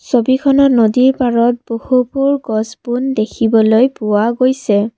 ছবিখনত নদীৰ পাৰত বহুপুৰ গছ বোন দেখিবলৈ পোৱা গৈছে।